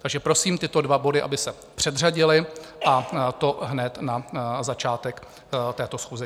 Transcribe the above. Takže prosím tyto dva body, aby se předřadily, a to hned na začátek této schůze.